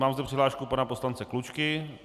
Mám zde přihlášku pana poslance Klučky.